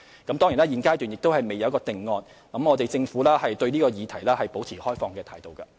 當然，現階段尚未有定案，而政府對這議題保持開放態度。